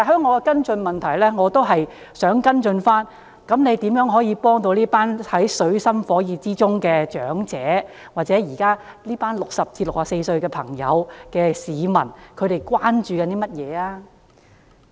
我在跟進質詢中問及如何幫助這群處於水深火熱之中的長者，現時60至64歲的市民關注甚麼？